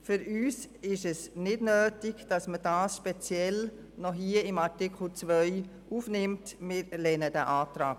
Für uns ist es nicht nötig, dass die Verkehrskadetten speziell in Artikel 2 aufgenommen werden.